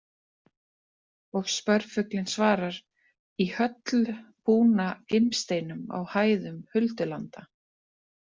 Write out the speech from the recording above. Og spörfuglinn svarar: Í höll búna gimsteinum á hæðum huldulanda